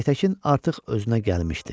Aytəkin artıq özünə gəlmişdi.